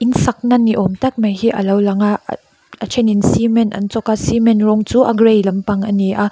in sakna ni awmtak mai hi alo lang a a then in cement an chawk a cement rawng chu a gray lampang ani a--